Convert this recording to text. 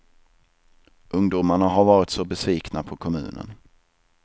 Ungdomarna har varit så besvikna på kommunen.